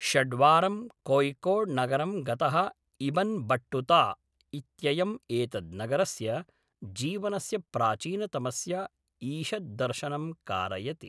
षड्वारं कोय़िकोड्नगरं गतः Ibn Battuta इत्ययम् एतद्‌नगरस्य जीवनस्य प्राचीनतमस्य ईषद्दर्शनं कारयति।